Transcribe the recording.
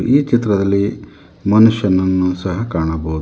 ಈ ಚಿತ್ರದಲ್ಲಿ ಮನುಷ್ಯನನ್ನು ಸಹ ಕಾಣಬಹುದು.